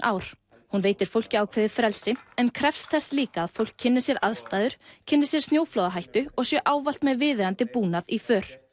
ár hún veitir fólki ákveðið frelsi en krefst þess líka að fólk kynni sér aðstæður kynni sér snjóflóðahættu og sé ávallt með viðeigandi búnað í för